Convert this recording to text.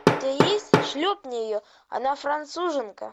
у тебя есть шлепни ее она француженка